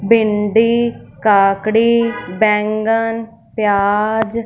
भिंडी काकड़ी बेंगन प्याज--